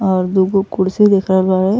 और दू गो कुर्सी दिखल रहा ह।